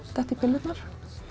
detta í pillurnar